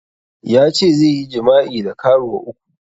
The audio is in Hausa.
Yace zai yi jima'i da karuwa uku